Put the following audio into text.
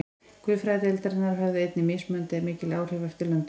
Guðfræðideildirnar höfðu einnig mismunandi mikil áhrif eftir löndum.